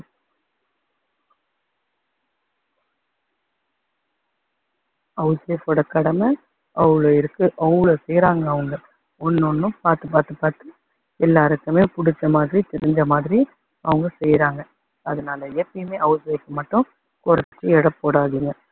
house wife ஓட கடமை அவ்ளோ இருக்கு. அவ்ளோ செய்யுறாங்க அவங்க ஒண்ணு ஒண்ணும் பாத்து பாத்து பாத்து எல்லாருக்குமே புடிச்ச மாதிரி தெரிஞ்ச மாதிரி அவங்க செய்றாங்க. அதனால எப்பயுமே house wife அ மட்டும் குறைச்சு எடை போடாதீங்க